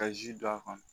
Ka ji don a kɔnɔ